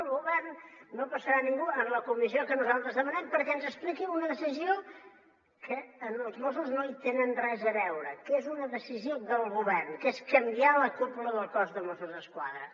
del govern no hi passarà ningú en la comissió que nosaltres demanem perquè ens expliqui una decisió que els mossos no hi tenen res a veure que és una decisió del govern que és canviar la cúpula del cos de mossos d’esquadra